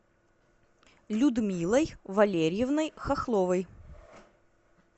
людмилой валерьевной хохловой